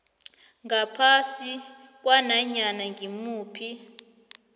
ngaphasi kwananyana ngimuphi